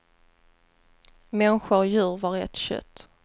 Människa och djur var ett kött.